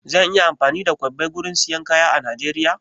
Zan iya amfani da kwabbai gurin siyan kaya a Najeriya?